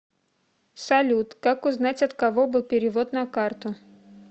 салют как узнать от кого был перевод на карту